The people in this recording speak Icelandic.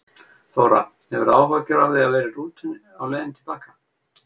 Þóra: Hefurðu áhyggjur af því að vera í rútu á leiðinni til baka?